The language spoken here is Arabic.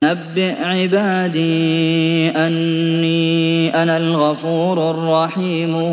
۞ نَبِّئْ عِبَادِي أَنِّي أَنَا الْغَفُورُ الرَّحِيمُ